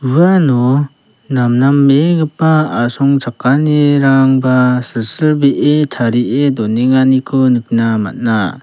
uano namnambegipa asongchakanirangba silsilbee tarie donenganiko nikna man·a.